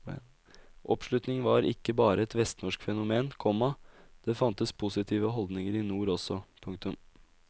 Oppslutning var ikke bare et vestnorsk fenomen, komma det fantes positive holdninger i nord også. punktum